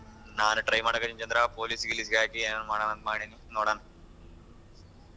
ನಾನೂ try ಮಾಡಕ್ಕತ್ತಿನ್ Chandra police ಗಿಲೀಸ್ಗ್ ಆಕಿ ಏನಾದ್ರು ಮಾಡಣ ಅಂತ್ ಮಾಡಿನಿ ನೋಡಣ.